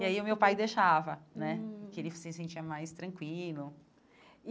E aí o meu pai deixava né, hum porque ele se sentia mais tranquilo.